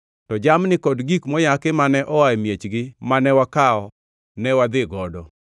To jamni kod gik moyaki mane oa e miechgi mane wakawo ne wadhi godo.